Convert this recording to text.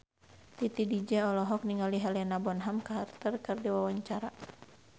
Titi DJ olohok ningali Helena Bonham Carter keur diwawancara